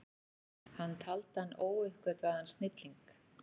Hann taldi hann óuppgötvaðan snilling.